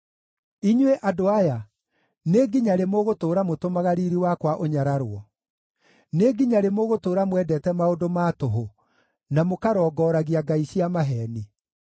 Inyuĩ, andũ aya, nĩ nginya rĩ mũgũtũũra mũtũmaga riiri wakwa ũnyararwo? Nĩ nginya rĩ mũgũtũũra mwendete maũndũ ma tũhũ, na mũkarongoragia ngai cia maheeni?